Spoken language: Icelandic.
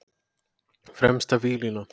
Fremsta víglína.